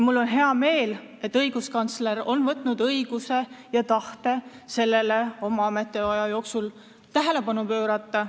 Mul on hea meel, et õiguskantsler on soovinud oma ametiaja jooksul sellele tähelepanu pöörata.